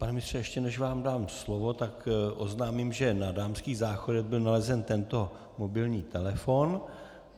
Pane ministře, ještě než vám dám slovo, tak oznámím, že na dámských záchodech byl nalezen tento mobilní telefon.